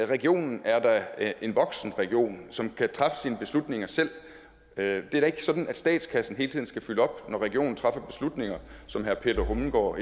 regionen er da en voksen region som kan træffe sine beslutninger selv det er da ikke sådan at statskassen hele tiden skal følge op når regionen træffer slutninger som herre peter hummelgaard